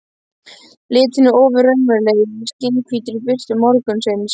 Litirnir ofur raunverulegir í skjannahvítri birtu morgunsins.